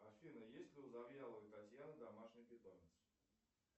афина есть ли у завьяловой татьяны домашний питомец